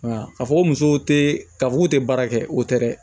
Nka a fɔ ko musow te ka f'u te baara kɛ o te dɛ